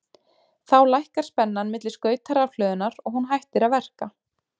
Þá lækkar spennan milli skauta rafhlöðunnar og hún hættir að verka.